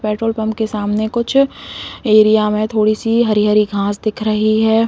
Petrol pump के सामने कुछ एरिया में थोड़ी सी हरी-हरी घास दिख रही हैं।